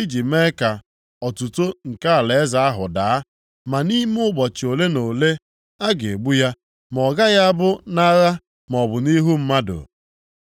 iji mee ka otuto nke alaeze ahụ daa, ma nʼime ụbọchị ole na ole, a ga-egbu ya, ma ọ gaghị abụ nʼagha maọbụ nʼihu mmadụ.